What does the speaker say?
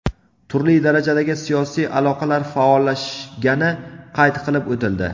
Turli darajadagi siyosiy aloqalar faollashgani qayd qilib o‘tildi.